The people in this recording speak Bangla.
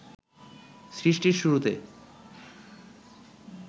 সৃষ্টির শুরুতে